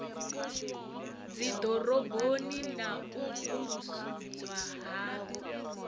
dziḓoroboni na u vusuludzwa ha